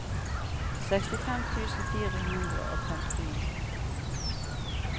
sekstifem tusen fire hundre og femtini